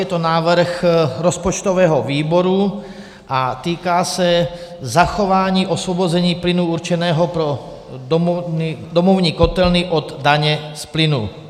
Je to návrh rozpočtového výboru a týká se zachování osvobození plynu určeného pro domovní kotelny od daně z plynu.